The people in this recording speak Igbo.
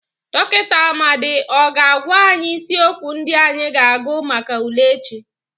Dọkịnta Amadị ọ ga-agwa anyị isiokwu ndị anyị ga-agụ maka ule echi?